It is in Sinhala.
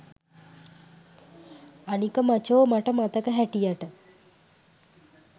අනික මචෝ මට මතක හැටියට